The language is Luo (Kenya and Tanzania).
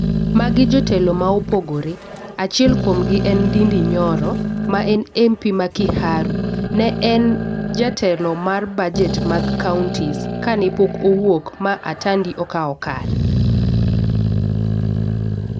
Magi jotelo ma opogore. Achiel kuom gi en Ndindi Nyoro ma en Mp ma Kiaru. Ne en jatelo mar bajet mar counties kane pok owuok ma Atandi okawo kare.